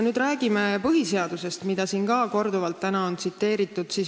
Räägime nüüd põhiseadusest, mida siin on ka täna korduvalt tsiteeritud.